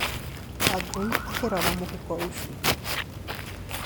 Wangũi akĩrora mũhuko ucio.